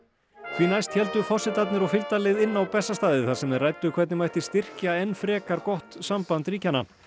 því næst héldu forsetarnir og fylgdarlið inn á Bessastaði þar sem þeir ræddu hvernig mætti styrkja enn frekar gott samband ríkjanna